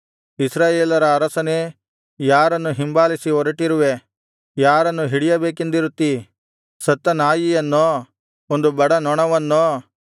ಇಸ್ರಾಯೇಲರ ಅರಸನೇ ಯಾರನ್ನು ಹಿಂಬಾಲಿಸಿ ಹೊರಟಿರುವೇ ಯಾರನ್ನು ಹಿಡಿಯಬೇಕೆಂದಿರುತ್ತೀ ಸತ್ತ ನಾಯಿಯನ್ನೋ ಒಂದು ಬಡ ನೊಣವನ್ನೋ